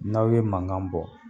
N'aw ye mankan bɔ